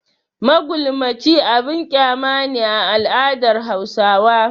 Magulmaci abin kyama ne a al'adar Hausawa.